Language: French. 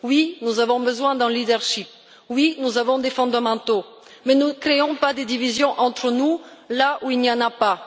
Oui, nous avons besoin d'un leadership, oui, nous avons des fondamentaux, mais ne créons pas des divisions entre nous là où il n'y en a pas.